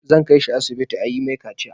Zan kai shi asibiti a yi mai kaciya.